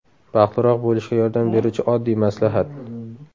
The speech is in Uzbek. Baxtliroq bo‘lishga yordam beruvchi oddiy maslahat.